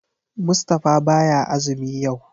Mustapha baya azumi yau.